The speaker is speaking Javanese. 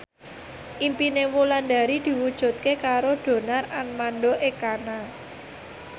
impine Wulandari diwujudke karo Donar Armando Ekana